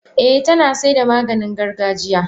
Eh tanasaida Maganin gargajiya.